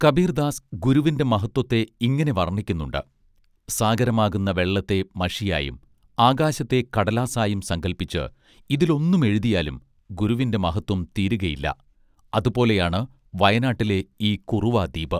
കബീർ ദാസ് ഗുരുവിന്റെ മഹത്വത്തെ ഇങ്ങനെ വർണ്ണിക്കുന്നുണ്ട് സാഗരമാകുന്ന വെള്ളത്തെ മഷിയായും ആകാശത്തെ കടലാസായും സങ്കൽപ്പിച്ച് ഇതിലൊന്നും എഴുതിയാലും ഗുരുവിന്റെ മഹത്വം തീരുകയില്ല അതു പോലെയാണ് വയനാട്ടിലെ ഈ കുറുവാ ദ്വീപ്